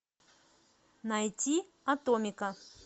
найти атомика